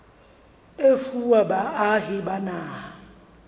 e fuwa baahi ba naha